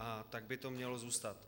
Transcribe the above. A tak by to mělo zůstat.